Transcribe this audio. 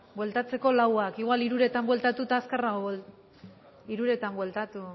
bueltatzeko hamaseizeroak igual quincezeroetan bueltatuta azkarrago hamabostzeroetan bueltatu